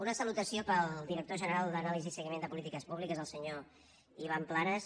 una salutació per al director general d’anàlisi i se guiment de polítiques públiques el senyor ivan planas